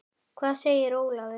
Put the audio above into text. Hvað segir Ólafur?